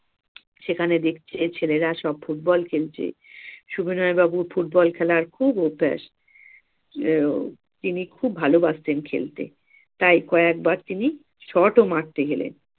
সেখানে দেখছে ছেলেরা সব football খেলছে। সবিনয় বাবু football খেলার খুব অভ্যাস তিনি খুব ভালোবাসতেন খেলতে। তাই কয়েকবার তিনি shot ও মারতে গেলেন